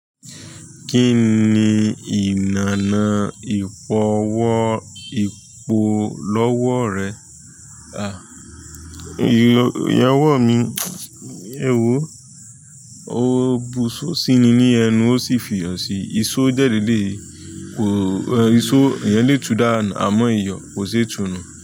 Kí ni ìlànà ìfọwọ́-ipò lọ́wọ́ rẹ? À, ìyẹn wọ̀ mí, ẹ wò, ó bu'só síi ni ní ẹnu ó sì fi iyọ̀ síi, ìsó dẹ́ lèléi, ìsó ìyẹn lè tu danu àmọ́ iyọ̀ kò ṣe tùnú.